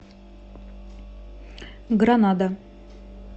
гранада